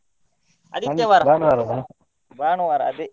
ಆದಿತ್ಯವಾರ ಭಾನುವಾರ ಅದೇ.